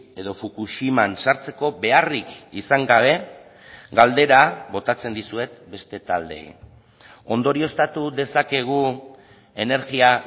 edo fukushiman sartzeko beharrik izan gabe galdera botatzen dizuet beste taldeei ondorioztatu dezakegu energia